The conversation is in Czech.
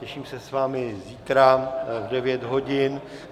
Těším se s vámi zítra v 9 hodin.